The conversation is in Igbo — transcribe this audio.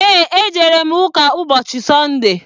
Eé, ejere m ụka ụbọchị Sọnde.